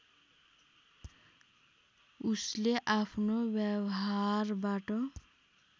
उसले अफ्नो व्यवहारबाट